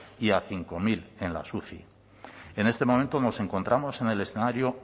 y a cinco mil en las uci en este momento nos encontramos en el escenario